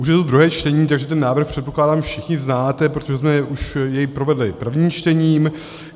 Už je to druhé čtení, takže ten návrh, předpokládám, všichni znáte, protože jsme jej už provedli prvním čtením.